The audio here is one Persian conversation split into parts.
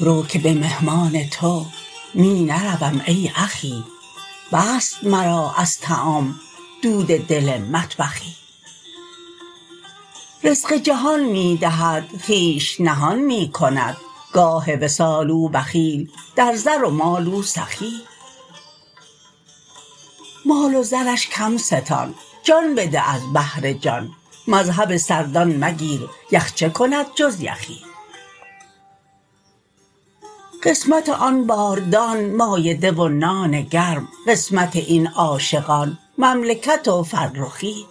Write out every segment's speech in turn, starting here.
رو که به مهمان تو می نروم ای اخی بست مرا از طعام دود دل مطبخی رزق جهان می دهد خویش نهان می کند گاه وصال او بخیل در زر و مال او سخی مال و زرش کم ستان جان بده از بهر جان مذهب سردان مگیر یخ چه کند جز یخی قسمت آن باردان مایده و نان گرم قسمت این عاشقان مملکت و فرخی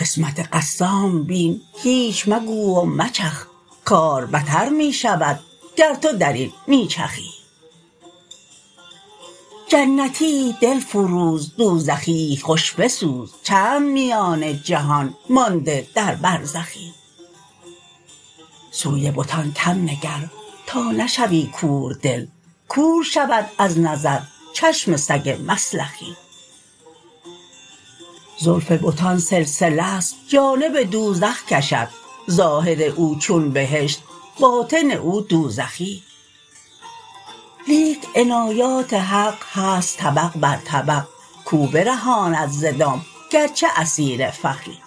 قسمت قسام بین هیچ مگو و مچخ کار بتر می شود گر تو در این می چخی جنتی دل فروز دوزخیی خوش بسوز چند میان جهان مانده در برزخی سوی بتان کم نگر تا نشوی کوردل کور شود از نظر چشم سگ مسلخی زلف بتان سلسله ست جانب دوزخ کشد ظاهر او چون بهشت باطن او دوزخی لیک عنایات حق هست طبق بر طبق کو برهاند ز دام گرچه اسیر فخی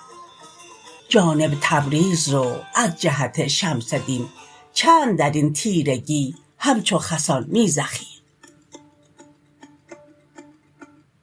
جانب تبریز رو از جهت شمس دین چند در این تیرگی همچو خسان می زخی